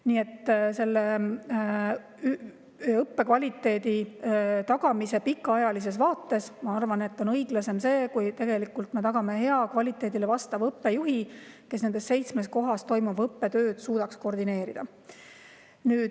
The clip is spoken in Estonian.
Nii et õppe kvaliteedi tagamise pikaajalisest vaatest, ma arvan, on õiglasem see, kui me tagame hea, kvaliteedi vastava õppejuhi, kes suudaks nendes seitsmes kohas toimuvat õppetööd koordineerida.